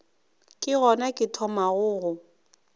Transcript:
ke gona ke thomago go